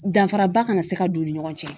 Danfaraba kana se ka don u ni ɲɔgɔn cɛ